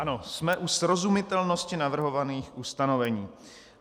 Ano, jsme u srozumitelnosti navrhovaných ustanovení.